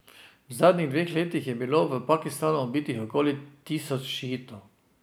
V zadnjih dveh letih je bilo v Pakistanu ubitih okoli tisoč šiitov.